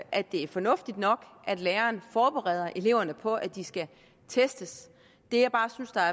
at det er fornuftigt nok at læreren forbereder eleverne på at de skal testes det jeg bare synes er